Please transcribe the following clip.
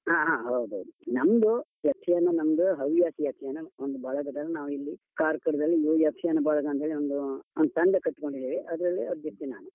ಹಾ ಹಾ ಹಾ ಹೌದೌದು ನಮ್ದು ಯಕ್ಷಗಾನ ನಮ್ದು ಹವ್ಯಾಸಿ ಯಕ್ಷಗಾನ ಒಂದು ಬಳಗದವರು ನಾವಿಲ್ಲಿ, ಕಾರ್ಕಳದಲ್ಲಿ ಮೂರು ಯಕ್ಷಗಾನ ಬಳಗ ಅಂತೇಳಿ ಒಂದು ಒಂದು ತಂಡ ಕಟ್ಕೊಂಡಿದ್ದೇವೆ, ಅದ್ರಲ್ಲಿ ಅಧ್ಯಕ್ಷ ನಾನು.